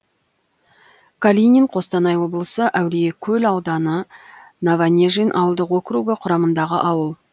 калинин қостанай облысы әулиекөл ауданы новонежин ауылдық округі құрамындағы ауыл